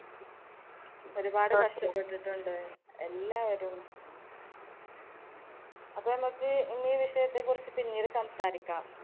ഒരുപാട് കഷ്ടപ്പെട്ടിട്ടുണ്ട് എല്ലാവരും. അപ്പോ നമുക്ക് ഇന്നീ വിഷയത്തെ കുറിച്ച് പിന്നീട് സംസാരിക്കാം.